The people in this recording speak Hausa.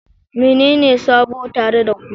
Menene sabo tare da ku?